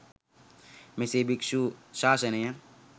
මෙසේ භික්‍ෂු ශාසනය